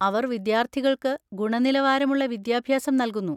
അവർ വിദ്യാർത്ഥികൾക്ക് ഗുണനിലവാരമുള്ള വിദ്യാഭ്യാസം നൽകുന്നു.